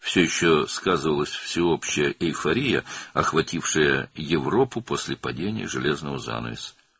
Dəmir pərdənin süqutundan sonra Avropanı bürüyən ümumi eyforiya hələ də hiss olunurdu.